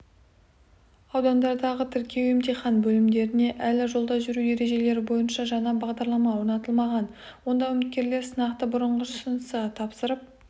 -аудандардағы тіркеу-емтихан бөлімдеріне әлі жолда жүру ережелері бойынша жаңа бағдарлама орнатылмаған онда үміткерлер сынақты бұрынғысынша тапсырып